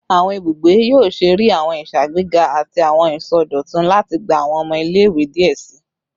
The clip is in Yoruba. Awọn ibugbe yoo ṣee rii awọn iṣagbega ati awọn isọdọtun lati gba awọn ọmọ ile-iwe diẹ sii